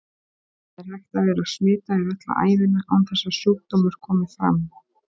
Það er hægt að vera smitaður alla ævina án þess að sjúkdómur komi fram.